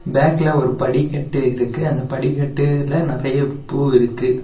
பேக்ல ஒரு படிக்கட்டு இருக்கு அந்த படிக்கட்டுல நெறைய பூ இருக்கு.